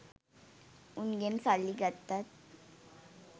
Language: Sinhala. උන්ගෙන් සල්ලි ගත්තත්